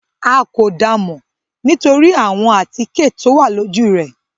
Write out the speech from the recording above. À kó dáa mọ nitori awọn atike towa loju rẹ